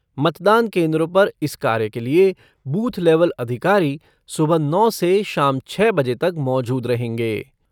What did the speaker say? मतदान केन्द्रों पर इस कार्य के लिए बूथ लेवल अधिकारी सुबह नौ से शाम छः बजे तक मौजूद रहेंगे।